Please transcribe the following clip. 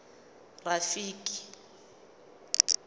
rafiki